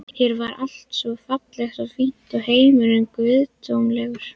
Hér var allt svo fallegt og fínt, heimurinn guðdómlegur.